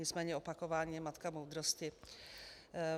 Nicméně opakování je matka moudrosti.